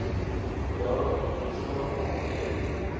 daar bestaan geen